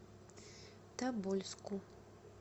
тобольску